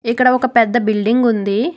ఇక్కడ ఒక పెద్ద బిల్డింగ్ ఉంది.